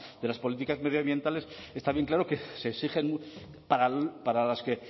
de las políticas medioambientales está bien claro que se exigen para las que